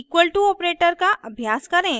अब equal to operator का अभ्यास करें